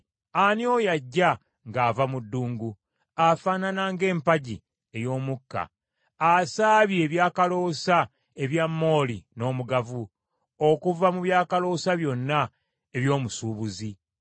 Ani oyo ajja ng’ava mu ddungu, afaanana ng’empagi ey’omukka, asaabye ebyakaloosa ebya mooli n’omugavu, okuva mu byakaloosa byonna eby’omusuubuzi?